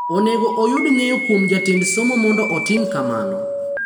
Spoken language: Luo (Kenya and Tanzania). Onego oyud ng’eyo kuom Jatend Somo mondo otim kamano.